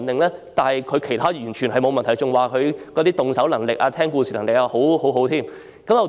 不過，他在其他方面完全沒問題，他的動手能力和聽故事能力也不錯。